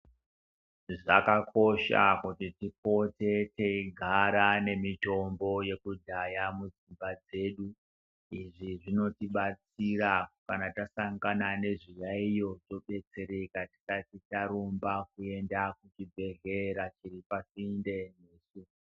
Zvakakosha kuti tipote teigara nemitombo yekudhaya mudzimba dzedu izvi zvinotibatsira kana tasangana nezviyaiyo todetsereka tisati tarumba kuenda kuzvibhedhlera zviri pasinte.